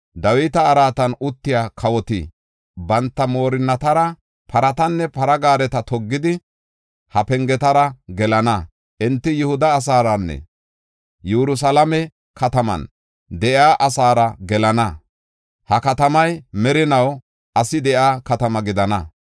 Dawita araatan uttiya kawoti banta moorinnatara paratanne para gaareta toggidi, ha pengetara gelana. Enti Yihuda asaaranne Yerusalaame kataman de7iya asaara gelana; ha katamay merinaw asi de7iya katama gidana.